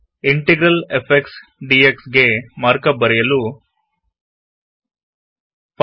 integral f x d x ಗೆ markup ಬರೆಯಲು 5